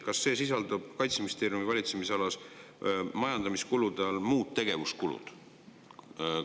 Kas see sisaldub Kaitseministeeriumi valitsemisala majandamiskulude muude tegevuskulude all?